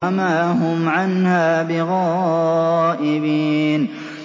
وَمَا هُمْ عَنْهَا بِغَائِبِينَ